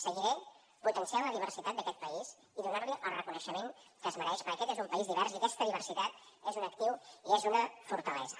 seguiré potenciant la diversitat d’aquest país i donant li el reconeixement que es mereix perquè aquest és un país divers i aquesta diversitat és un actiu i és una fortalesa